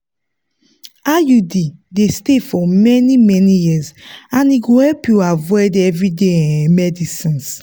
iud dey stay for many-many years and e go help you avoid everyday um medicines.